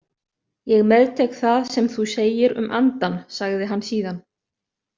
Ég meðtek það sem þú segir um andann, sagði hann síðan.